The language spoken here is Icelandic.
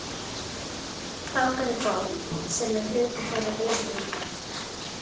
Fákar er bók, sem er hluti þeirra virðingarmerkja.